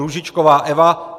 Růžičková Eva